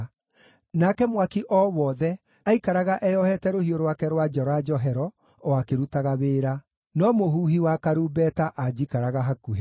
nake mwaki o wothe aikaraga eyohete rũhiũ rwake rwa njora njohero o akĩrutaga wĩra. No mũhuhi wa karumbeta aanjikaraga hakuhĩ.